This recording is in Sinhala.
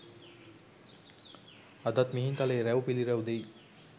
අදත් මිහින්තලයේ රුව් පිළිරැව් දෙයි.